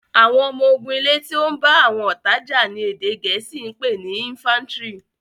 àwọn ọmọ ogun ilè tí o bá àwọn ọta já ní èdè gèésì pé ní "infantry".